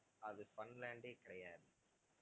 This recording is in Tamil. அது funland ஏ கிடையாது